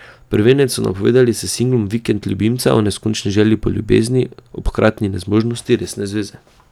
Prvenec so napovedali s singlom Vikend ljubimca o neskončni žeji po ljubezni ob hkratni nezmožnosti resne zveze.